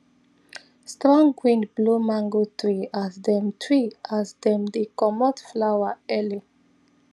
strong wind blow mango tree as them tree as them they comot flower early